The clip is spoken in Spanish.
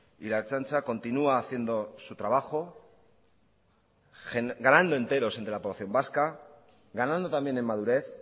y la ertzaintza continúa haciendo su trabajo ganando enteros entre la población vasca ganando también en madurez